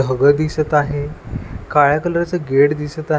दिसत आहे काळ्या कलरचं गेट दिसत आ --